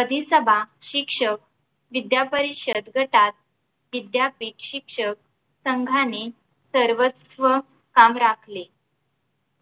अधिसभा शिक्षक विद्यापरिषद व तत् विद्यापीठ शिक्षक संघाने सर्वस्व स्थान राखले